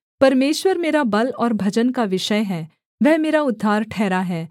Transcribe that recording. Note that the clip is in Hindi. परमेश्वर मेरा बल और भजन का विषय है वह मेरा उद्धार ठहरा है